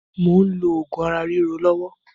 Mò ń lò oògùn ara ríro lọ́wọ́